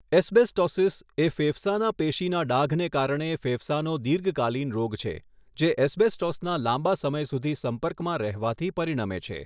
Asbestosis એ ફેફસાના પેશીના ડાઘને કારણે ફેફસાનો દીર્ઘકાલીન રોગ છે, જે એસ્બેસ્ટોસના લાંબા સમય સુધી સંપર્કમાં રહેવાથી પરિણમે છે.